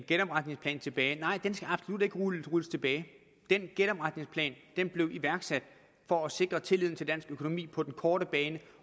genopretningsplanen tilbage nej den skal absolut ikke rulles tilbage genopretningsplanen blev iværksat for at sikre tilliden til dansk økonomi på den korte bane